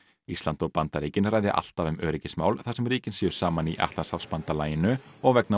ísland og Bandaríkin ræði alltaf um öryggismál þar sem ríkin séu saman í Atlantshafsbandalaginu og vegna